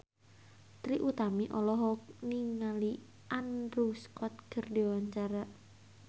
Trie Utami olohok ningali Andrew Scott keur diwawancara